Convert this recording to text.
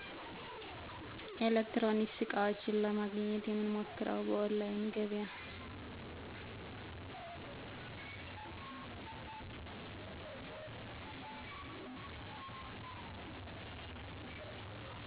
ኤሌክትሮኒክስ ዕቃዎች ለማግኘት የምንሞክረው በኦላይን ገበያ